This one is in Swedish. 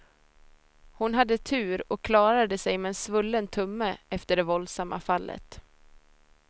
Hon hade tur och klarade sig med en svullen tumme efter det våldsamma fallet.